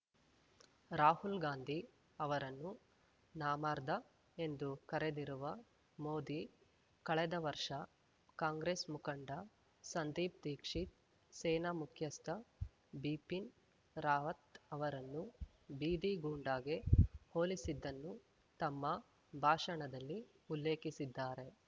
ರಾಹುಲ್‌ ಗಾಂಧಿ ಅವರನ್ನು ನಾಮರ್ದಾ ಎಂದು ಕರೆದಿರುವ ಮೋದಿ ಕಳೆದ ವರ್ಷ ಕಾಂಗ್ರೆಸ್‌ ಮುಖಂಡ ಸಂದೀಪ್‌ ದೀಕ್ಷಿತ್‌ ಸೇನಾ ಮುಖ್ಯಸ್ಥ ಬಿಪಿನ್‌ ರಾವತ್‌ ಅವರನ್ನು ಬೀದಿ ಗೂಂಡಾಗೆ ಹೋಲಿಸಿದ್ದನ್ನು ತಮ್ಮ ಭಾಷಣದಲ್ಲಿ ಉಲ್ಲೇಖಿಸಿದ್ದಾರೆ